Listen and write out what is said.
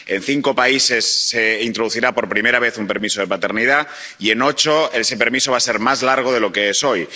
En cinco países se introducirá, por primera vez, un permiso de paternidad y en ocho ese permiso va a ser más largo de lo que es hoy.